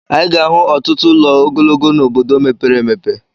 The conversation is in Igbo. Anyị ga-ahụ ọtụtụ ụlọ ogologo n'obodo mepere emepe.